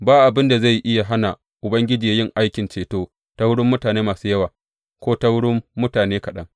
Ba abin da zai iya hana Ubangiji yin aikin ceto ta wurin mutane masu yawa, ko ta wurin mutane kaɗan.